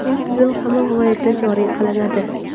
Bu tizim hamma viloyatda joriy qilinadi.